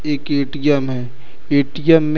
एक ए_टी_एम है ए_टी_एम में--